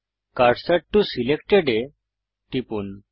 cursor to selected এ টিপুন